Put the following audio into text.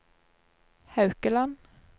Haukeland